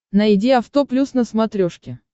найди авто плюс на смотрешке